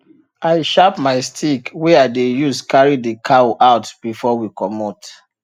i sharp my stick wey i dey use carry the cow out before we comot